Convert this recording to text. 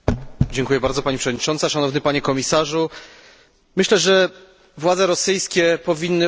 Myślę, że władze rosyjskie powinny usłyszeć, że oczekujemy od nich odpowiedzialności.